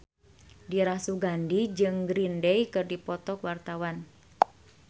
Dira Sugandi jeung Green Day keur dipoto ku wartawan